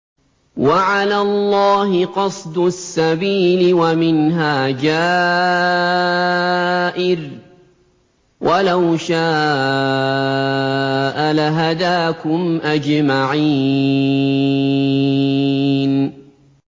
وَعَلَى اللَّهِ قَصْدُ السَّبِيلِ وَمِنْهَا جَائِرٌ ۚ وَلَوْ شَاءَ لَهَدَاكُمْ أَجْمَعِينَ